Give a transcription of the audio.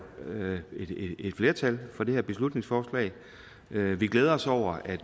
et flertal for det her beslutningsforslag vi vi glæder os over at